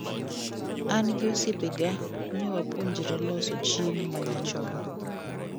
An gi osiepega newapuonjre loso chiemo manyachon.